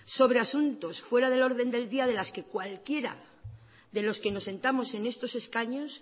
sobre asuntos fuera del orden del día de los que cualquiera de los que nos sentamos en estos escaños